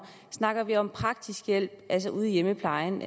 snakker vi om praktisk hjælp altså ude i hjemmeplejen